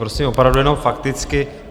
Prosím opravdu jenom fakticky.